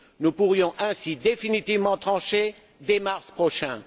Nous pourrions ainsi définitivement trancher dès mars prochain.